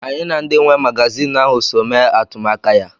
Anyị na ndị nwe magazinụ ahụ so mee atụmaka ya.